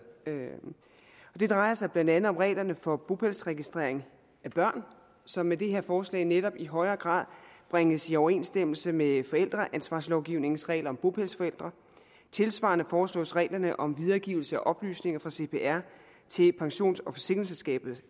det drejer sig blandt andet om reglerne for bopælsregistrering af børn som med det her forslag netop i højere grad bringes i overensstemmelse med forældreansvarslovgivningens regler om bopælsforældre tilsvarende foreslås reglerne om videregivelse af oplysninger fra cpr til pensions og forsikringsselskaber